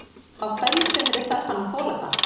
Á hverju sumri þarf hann að þola það.